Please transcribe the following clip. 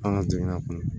An ka jamana kɔnɔ